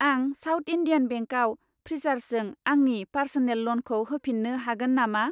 आं south Indian बेंकआव फ्रिसार्जजों आंनि पार्स'नेल ल'नखौ होफिन्नो हागोन नामा?